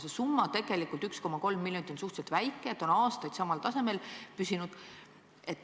See summa – 1,3 miljonit – on tegelikult suhteliselt väike ja see on aastaid samal tasemel püsinud.